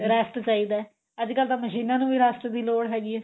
rest ਚਾਹੀਦਾ ਅੱਜਕਲ ਤਾਂ ਮਸ਼ੀਨਾ ਨੂੰ ਵੀ rest ਦੀ ਲੋੜ ਹੈਗੀ ਏ